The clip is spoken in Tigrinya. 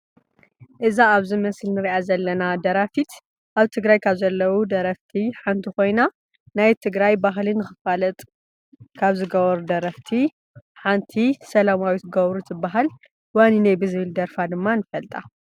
እዛ ኣብዚ ምስሊ እንሪኣ ዘለና ደራፊት ኣብ ትግራይ ካብ ዘለው ደረፍቲ ሓንቲ ኮይና ናይ ትግራይ ባህሊ ንክፋለጥ ሓንቲ ሰላማዊት ገብሩ ትባሃል። ዋኒነይ ብዝበሃል ደርፋ ድማ ንፈልጣ።